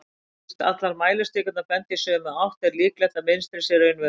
fyrst allar mælistikurnar benda í sömu átt er líklegt að mynstrið sé raunverulegt